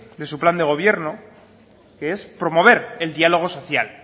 de su plan de gobierno que es promover el diálogo social